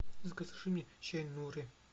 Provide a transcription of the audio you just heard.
закажи мне чай нури